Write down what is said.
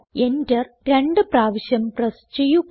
enter രണ്ട് പ്രാവശ്യം press ചെയ്യുക